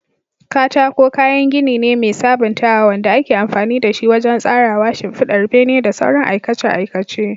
Katako kayan gini ne mai sabuntawa wanda ake amfani da shi wajen tsarawa, shimfidar bene, da sauran aikace-aikace.